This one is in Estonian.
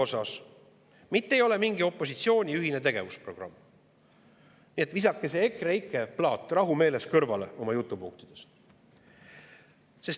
See ei ole mitte mingi opositsiooni ühine tegevusprogramm, nii et visake see EKREIKE plaat rahumeeles kõrvale oma jutupunktides.